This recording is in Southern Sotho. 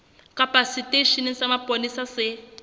kapa seteisheneng sa mapolesa se